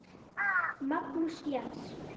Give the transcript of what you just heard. Magnús Jens.